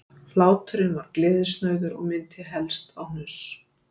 Hláturinn var gleðisnauður og minnti helst á hnuss